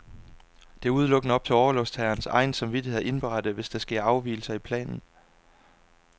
Det er udelukkende op til orlovstagerens egen samvittighed at indberette, hvis der sker afgivelser i planen.